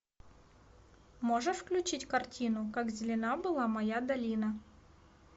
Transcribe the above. можешь включить картину как зелена была моя долина